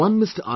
One Mr